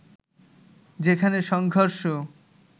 যেখানে সংঘর্ষ